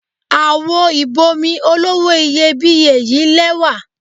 Àwo ìb'omi olówó iyebíye yí lẹ́wà.